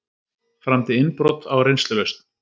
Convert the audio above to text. Framdi innbrot á reynslulausn